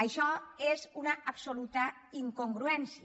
això és una absoluta incongruència